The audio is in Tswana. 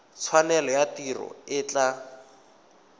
tshwanelo ya tiro e tla